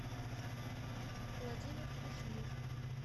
владимир кушнир